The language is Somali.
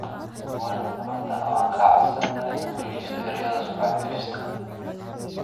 Mbwana Samatta: Waxaan kaa codsanayaa inaad joojiso ereyada sumcad-dilista ah